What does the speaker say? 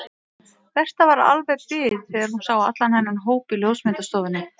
Berta var alveg bit þegar hún sá allan þennan hóp í ljósmyndastofunni.